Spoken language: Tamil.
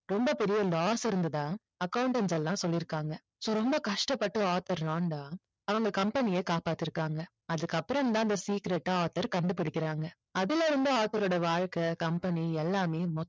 ரொம்ப பெரிய loss இருந்ததா accountant எல்லாம் சொல்லிருக்காங்க so ரொம்ப கஷ்டப்பட்டு ஆர்தர் ராண்டா அவங்க company ய காப்பாத்தி இருக்காங்க அதுக்கு அப்புறம் தான் அந்த secret அ ஆர்தர் கண்டுபுடிக்குறாங்க அதுல இருந்து ஆர்தரோட வாழ்க்கை company எல்லாமே